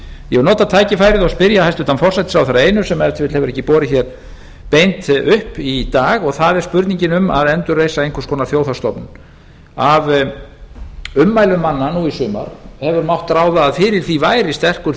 ég vil nota tækifærið og spyrja hæstvirtan forsætisráðherra að einu sem ef til vill hefur ekki borið beint upp í dag og það er spurningin um að endurreisa einhvers konar þjóðhagsstofnun af ummælum manna nú í sumar hefur mátt ráða að fyrir því væri sterkur